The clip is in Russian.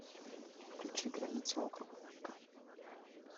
включи граница округа мэйкон